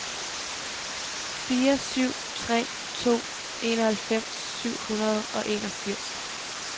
fire syv tre to enoghalvfems syv hundrede og enogfirs